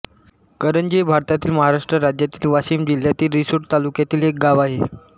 करंजी हे भारतातील महाराष्ट्र राज्यातील वाशिम जिल्ह्यातील रिसोड तालुक्यातील एक गाव आहे